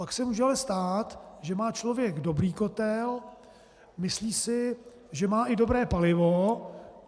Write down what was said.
Pak se ale může stát, že má člověk dobrý kotel, myslí si, že má i dobré palivo.